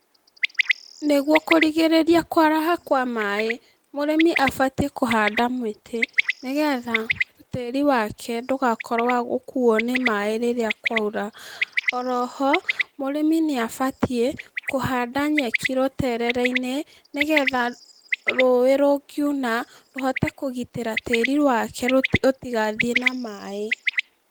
Nĩguo kũgirĩrĩria kwaraha kwa maĩ, mũrĩmi abatiĩ kũhanda mĩtĩ, nĩgetha, tĩri wake ndũkakorwo wa gũkuo nĩ maĩ rĩrĩa kwaura, oroho, mũrĩmi nĩabatiĩ, kũhanda nyeki rũterere-inĩ, nĩgetha rũĩ rũngiuna, rũhote kũgitĩra tĩri wake rũtigathiĩ na maĩ.